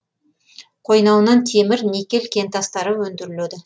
қойнауынан темір никель кентастары өндіріледі